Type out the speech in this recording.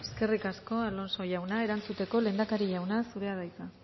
eskerrik asko alonso jauna erantzuteko lehendakari jauna zurea da hitza